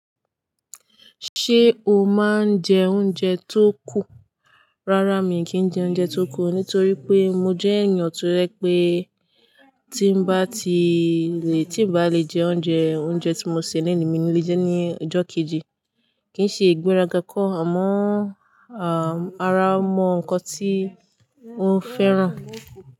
Ṣé o máa ń jẹ oúnjẹ tó kù? Rárá, mi kì n jẹ oúnjẹ tó kù, nítorí pé mo jẹ́ èyàn tó ye pé tí n bá ti lè, tí bá lè jẹ oúnjẹ, oúnjẹ tí mo sè lénì mi ni lè jẹ́ ní ọjọ́ kejì. Kì n ṣe ìgbéraga kọ́, àmọ́ ara mọ nǹkan tí ó fẹ́ràn.